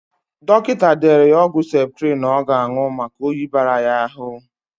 Dọkịta dere ya ọgwụ septrịn ọ ga-anụ maka oyi bara ya ahụ.